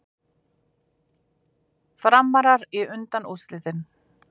Framarar í undanúrslitin